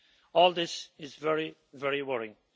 All this is very, very worrying.